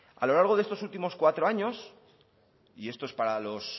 a lo largo de estos últimos cuatro años y esto es para los